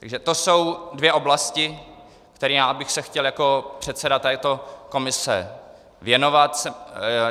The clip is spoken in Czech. Takže to jsou dvě oblasti, kterým já bych se chtěl jako předseda této komise věnovat.